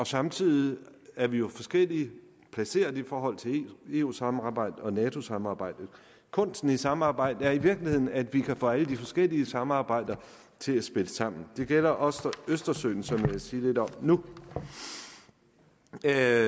samtidig er vi jo forskelligt placeret i forhold til eu samarbejdet og nato samarbejdet kunsten i samarbejdet er i virkeligheden at vi kan få alle de forskellige samarbejder til at spille sammen det gælder også for østersøen som jeg vil sige lidt om nu det er